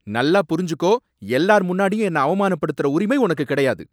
நல்லா புரிஞ்சுக்கோ! எல்லார் முன்னாடியும் என்ன அவமானப்படுத்துற உரிமை உனக்கு கிடையாது!